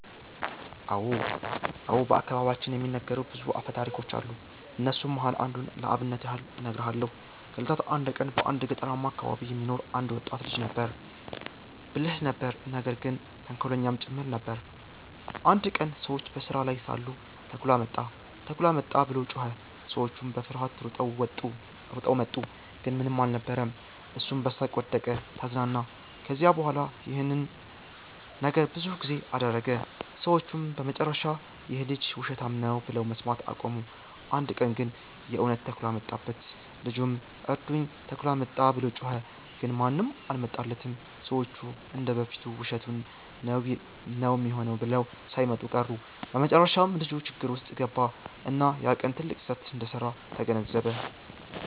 አዎ። በአከባቢያችን የሚነገሩ ብዙ አፈታሪኮች አሉ። ከነሱም መሃል አንዱን ለአብነት ያህል እነግርሃለው። ከ እለታት አንድ ቀን በአንድ ገጠርማ አከባቢ የሚኖር አንድ ወጣት ልጅ ነበረ። ብልህ ነበር ነገር ግን ተንኮለኛም ጭምር ነበር። አንድ ቀን ሰዎች በስራ ላይ ሳሉ “ተኩላ መጣ! ተኩላ መጣ!” ብሎ ጮኸ። ሰዎቹም በፍርሃት ሮጠው መጡ፣ ግን ምንም አልነበረም። እሱም በሳቅ ወደቀ(ተዝናና)። ከዚያ በኋላ ይህን ነገር ብዙ ጊዜ አደረገ። ሰዎቹም በመጨረሻ “ይህ ልጅ ውሸታም ነው” ብለው መስማት አቆሙ። አንድ ቀን ግን የእውነት ተኩላ መጣበት። ልጁም “እርዱኝ! ተኩላ መጣ!” ብሎ ጮኸ። ግን ማንም አልመጣለትም፤ ሰዎቹ እንደ በፊቱ ውሸቱን ነው ሚሆነው ብለው ሳይመጡ ቀሩ። በመጨረሻም ልጁ ችግር ውስጥ ገባ፣ እና ያ ቀን ትልቅ ስህተት እንደሰራ ተገነዘበ።